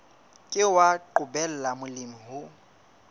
ke wa qobella molemi ho